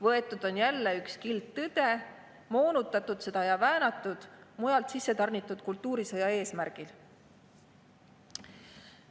Võetud on jälle üks kild tõde, moonutatud seda ja väänatud mujalt sissetarnitud kultuurisõja eesmärgil.